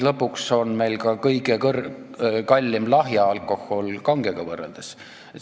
Lõpuks on meie lahja alkohol kangega võrreldes kõige kallim.